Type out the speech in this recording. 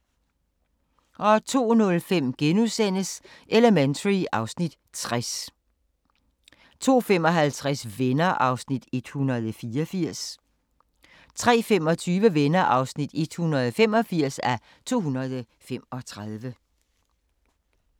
02:05: Elementary (Afs. 60)* 02:55: Venner (184:235) 03:25: Venner (185:235)